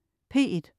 P1: